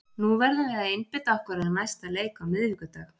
Nú verðum við að einbeita okkur að næsta leik á miðvikudag.